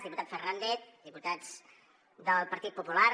diputat fernández diputats del partit popular